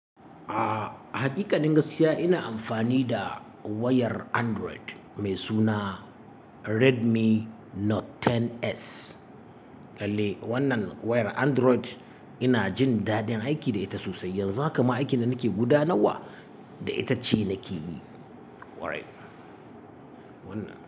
A'a, haqiƙanin gaskiya ina amfani da wayar Android mai suna Redmi Note 10S. Lalle wannan wayar Android ina jin dadin aiki da ita sosai. Yanzu haka ma aikin da nake gudanarwa da ita ce nake yi. Kwarai. Wannan.